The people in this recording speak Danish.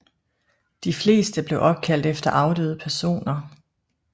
De fleste blev opkaldt efter afdøde personer